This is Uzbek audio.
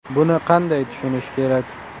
Buni qanday tushunish kerak?